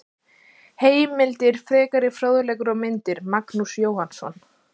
Heimildir, frekari fróðleikur og myndir: Magnús Jóhannsson.